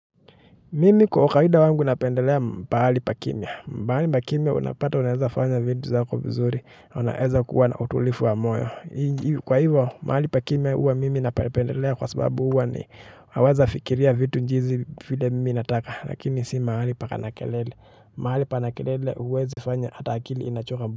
Mimi kwa kawaida wangu napendelea pahali pa kimya. Pahali pa kimya unapata unaeza fanya vitu zako vizuri. Unaeza kuwa na utulivu wa moyo kwa hivyo, mahali pa kimya huwa mimi napendelea kwa sababu huwa ni naweza fikiria vitu jinsi vile mimi nataka. Lakini si mahali pana kelele mahali pana kelele huwezi fanya hata akili inachoka.